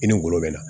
I ni ngolo bɛ na